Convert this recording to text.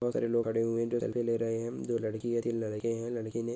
बहुत सारे लोग खडे हुए है जो सेलफी ले रहे है दो लड़की हे तीन लड़के है लड़की ने--